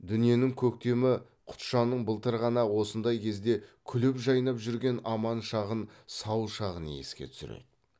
дүниенің көктемі құтжанның былтыр ғана осындай кезде күліп жайнап жүрген аман шағын сау шағын еске түсіреді